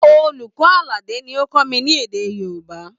Olùkọ́ Àlàdé ni ó ń kọ́ mi ní èdè Yorùbá